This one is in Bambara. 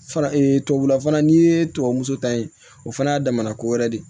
Fana tubabula fana n'i ye tubabu ta ye o fana y'a damana ko wɛrɛ de ye